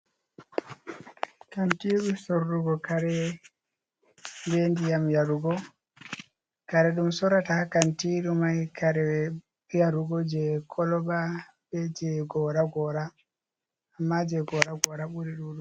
Kantiru sorrugo kare be ndiyam yarugo, kare ɗum sorata haa kantiru mai kare yarugo jei koloba be jei gora-gora, amma jei gora-gora ɓuri ɗuɗugo.